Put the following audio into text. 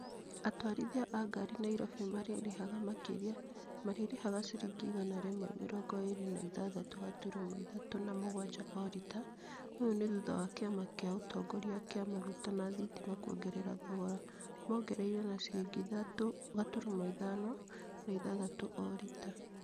Atwarithia a ngari Nairobi marĩrĩhaga makĩrĩa. Marĩrĩhaga ciringi igana rĩmwe mĩrongo ĩĩrĩ na ĩthathatũ gaturumo ĩthatũ na mũgwanja o rita . ŨyŨ ni thutha wa kĩama kĩa ũtongoria kia maguta na thitima kwongerera thogora. Mogereire na ciringi ĩthatũ gaturumo ithano na ĩthathatũ o rita.